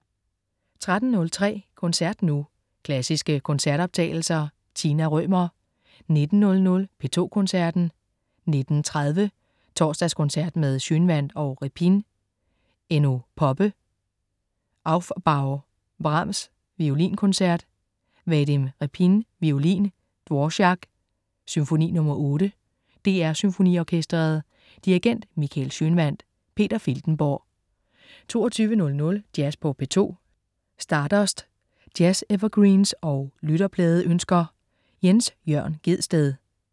13.03 Koncert nu. Klassiske koncertoptagelser. Tina Rømer 19.00 P2 Koncerten. 19.30 Torsdagskoncert med Schønwandt og Repin. Enno Poppe: Aufbau. Brahms: Violinkoncert. Vadim Repin, violin. Dvorák: Symfoni nr. 8. DR SymfoniOrkestret. Dirigent: Michael Schønwandt. Peter Filtenborg 22.00 Jazz på P2. Stardust. Jazz-evergreens og lytterpladeønsker. Jens Jørn Gjedsted